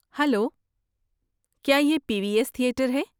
Hello, کیا یہ P V S theatre ہے؟